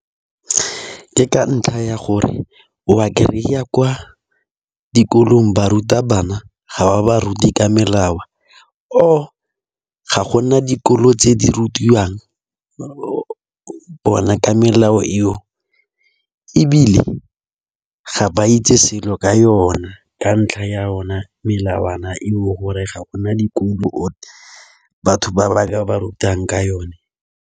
Ke ka ntlha ya gore o ba kry-a kwa dikolong barutabana ga ba baruti ka melao, or ga gona dikolo tse di rutiwang o bona ka melao eo. Ebile ga ba itse selo ka yona ka ntlha ya ona melawana eo gore ga gona dikolo, batho ba ba ka ba rutang ka yone.